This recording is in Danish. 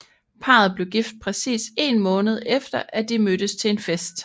Parret blev gift præcis én måned efter at de mødtes til en fest